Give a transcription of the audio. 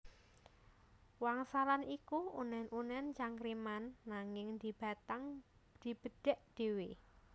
Wangsalan iku unen unen cangkriman nanging dibatang dibedhèk dhéwé